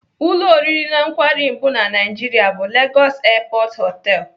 Ụlọ oriri na nkwari mbu na Naijiria bụ Lagos Airport Hotel.